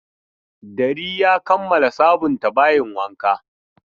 Dari ya kammala sabunta bayin wanka.